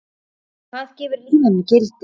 Hvað gefur lífinu gildi?